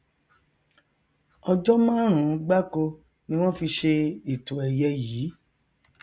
ọjọ márùnún gbáko ni wọn fi ṣe ètò ẹyẹ yìí